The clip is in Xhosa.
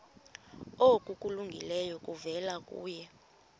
okulungileyo kuvela kuye